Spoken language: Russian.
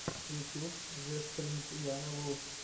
ютюб зэспрингяна ву